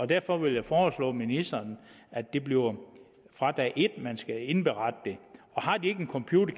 derfor vil jeg foreslå ministeren at det bliver fra dag et at man skal indberette det har de ikke en computer